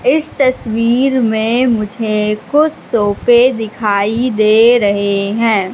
इस तस्वीर में मुझे कुछ सोफे दिखाई दे रहे हैं।